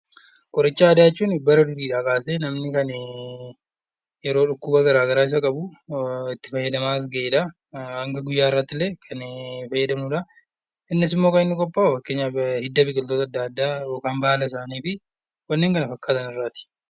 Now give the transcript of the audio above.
Qoricha aadaa jechuun bara durii kaasee namni yeroo dhukkuba garaagaraa isa qabu itti fayyadamaa as gahedha. Hanga guyyaa har'aatillee kan fayyadamnudha. Innis immoo kan inni qophaa'u fakkeenyaa hidda biqiloota adda addaa yookiin baala isaanii fi kanneen kana fakkaatan irraati.